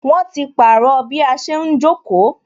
Wọn ti pàrọ̀ bí a ṣe ń jókòó